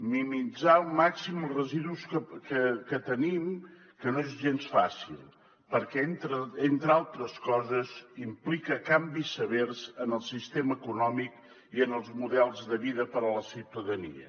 minimitzar al màxim els residus que tenim que no és gens fàcil perquè entre altres coses implica canvis severs en el sistema econòmic i en els models de vida per a la ciutadania